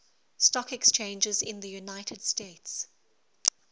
stock exchanges in the united states